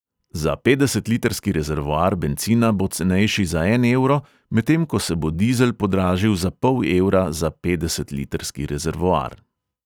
Za petdesetlitrski rezervoar bencina bo cenejši za en evro, medtem ko se bo dizel podražil za pol evra za petdesetlitrski rezervoar.